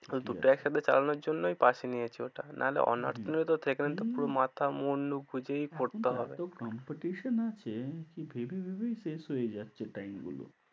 দুটো একসাথে চালানোর জন্যই pass এ নিয়েছি ওটা, নাহলে honours নিলে তো সেখানে তো পুরো মাথা মুনডু বুঝেই পড়তে হবে। এখন এতো competition আছে কি ভেবে ভেবেই শেষ হয়ে যাচ্ছে time গুলো।